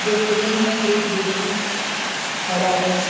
Restaurant में एक व्यक्ति खड़ा है।